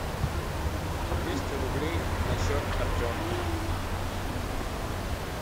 двести рублей на счет артем